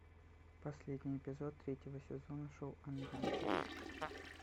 последний эпизод третьего сезона шоу анданте